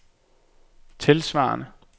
tilsvarende